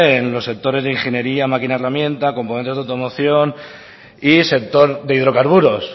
en los sectores de ingeniería máquina herramienta componentes de automoción y sector de hidrocarburos